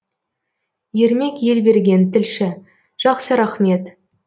ермек елберген тілші жақсы рахмет